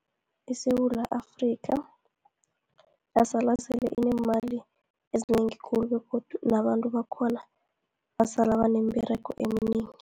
ISewula Afrika, yasala sele inemali ezinengi khulu, begodu nabantu bakhona, basala banemberego eminengi.